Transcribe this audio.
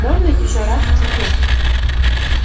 можно ещё раз посмотреть